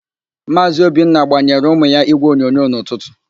Maazị Obinna gbayeere ụmụ ya ígwèonyonyo n'ụtụtụ.